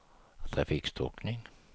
trafikstockning